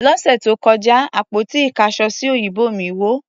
Lọ́sẹ̀ tó kọjá, àpótí ìkáṣọsí òyìnbó mí wó.